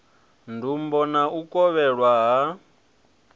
ndumbo na u kovhelwa ha